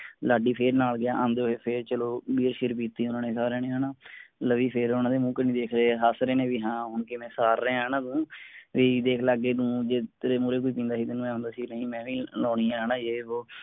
ਲਾਡੀ ਫੇਰ ਨਾਲ ਗਿਆ ਆਂਦੇ ਹੋਏ ਫੇਰ ਚਲੋ beer ਸ਼ਿਅਰ ਪਿੱਟੀ ਓਹਨਾ ਨੇ ਸਾਰਿਆਂ ਨੇ ਹੈਨਾ, ਲਵੀ ਫੇਰ ਓਹਨਾ ਦੇ ਮੂੰਹ ਕਣੀ ਵੇਖ ਰਿਹਾ ਆ। ਹੱਸ ਰਹੇ ਨੇ ਵੀ ਹਾਂ ਹੁਣ ਕਿਵੇਂ ਸਾਰ ਰਿਹਾ ਹੈ ਨਾ ਤੂੰ, ਵੀ ਦੇਖਲੇ ਅੱਗੇ ਨੂੰ ਜੇ ਤੇਰੇ ਮੂਹਰੇ ਕੋਈ ਪੀਂਦਾ ਸੀ ਤਾਂ ਮੈਂ ਹੁੰਦਾ ਸੀ ਬਈ ਮੈਂ ਨੀ ਲਾਉਣੀ ਆ ਹੈਨਾ ਯੇ ਵੋ।